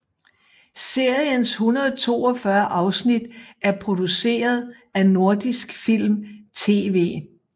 Seriens 142 afsnit er produceret af Nordisk Film TV